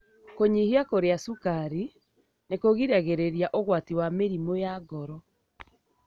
Kũnyihia kũria cukari nĩkũgiragĩrĩria ũgwati wa mĩrimũ ya ngoro.